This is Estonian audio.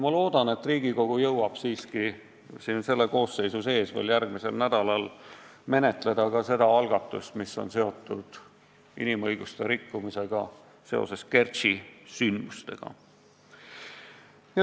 Ma loodan, et Riigikogu jõuab siiski selle koosseisu jooksul veel järgmisel nädalal menetleda ka seda algatust, mis on seotud inimõiguste rikkumisega seoses Kertši sündmustega.